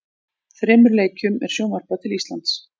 Þremur leikjum er sjónvarpað til Íslands.